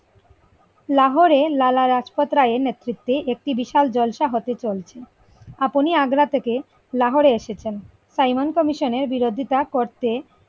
লাহোরে লালা রাজপথ রায়ের নেতৃত্বে একটি বিশাল জলসা হতে চলছে আপনি আগ্রা থেকে লাহোরে এসেছেন সাইমন commission এর বিরোধিতা করতে।